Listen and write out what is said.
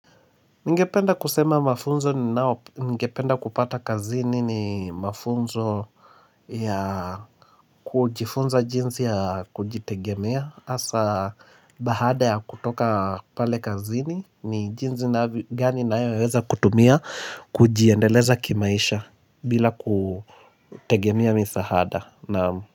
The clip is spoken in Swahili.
Ngependa kusema mafunzo ni nao ngependa kupata kazini ni mafunzo ya kujifunza jinasi ya kujitegemea asa bahada ya kutoka pale kazini ni jinsi gani naayo weza kutumia kujiendeleza kimaisha bila kutegemea misahada naamu.